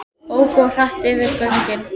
Óku of hratt við göngin